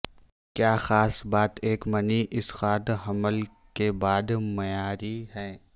کیا خاص بات ایک منی اسقاط حمل کے بعد معیاری ہیں